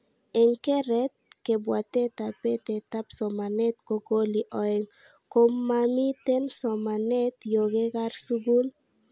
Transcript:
Eng keret, kabwatetab betetab somanet ko koli aeng, ko nmamiten somanet yo kerat skul